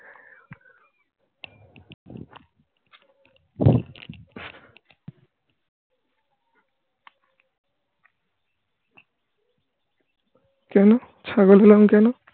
কেন? ছাগল হলাম কেন?